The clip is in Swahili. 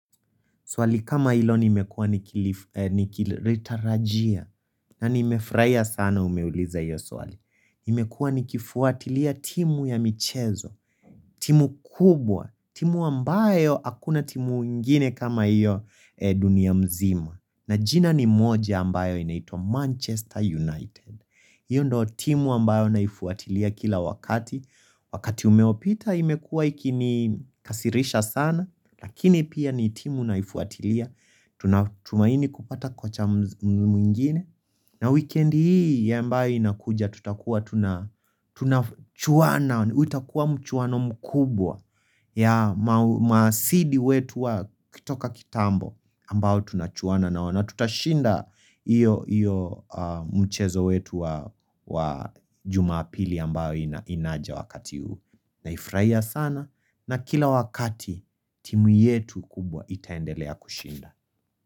Swali kama ilo nimekua ni kiritarajia na ni mefurahia sana umeuliza iyo swali. Imekua ni kifuatilia timu ya michezo, timu kubwa, timu ambayo akuna timu ingine kama iyo dunia mzima. Na jina ni moja ambayo inaito Manchester United. Iyo ndo timu ambayo naifuatilia kila wakati. Wakati umeopita imekua ikini kasirisha sana. Lakini pia ni timu naifuatilia Tunatumaini kupata kocha mwingine na weekend hii ya mbao inakuja tutakua tunachuana utakua mchuana mkubwa ya masidi wetu wa kutoka kitambo ambao tunachuana na wana Tutashinda iyo mchezo wetu wa jumapili ambao inaja wakati uu Naifurahia sana na kila wakati timu yetu kubwa itaendelea kushinda.